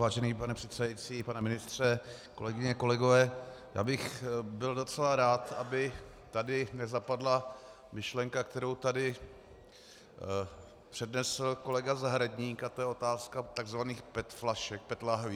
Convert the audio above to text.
Vážený pane předsedající, pane ministře, kolegyně, kolegové, já bych byl docela rád, aby tady nezapadla myšlenka, kterou tady přednesl kolega Zahradník, a to je otázka tzv. PET flašek, PET lahví.